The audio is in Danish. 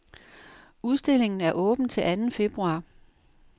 Udstillingen er åben til anden februar.